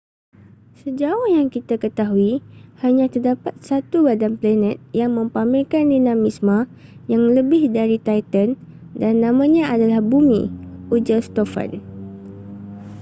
sejauh yang kita ketahui hanya terdapat satu badan planet yang mempamerkan dinamisme yang lebih dari titan dan namanya adalah bumi ujar stofan